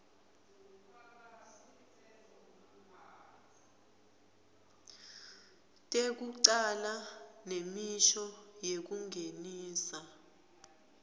tekucala nemisho yekungenisa